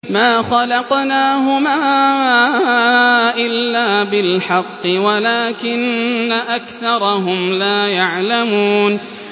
مَا خَلَقْنَاهُمَا إِلَّا بِالْحَقِّ وَلَٰكِنَّ أَكْثَرَهُمْ لَا يَعْلَمُونَ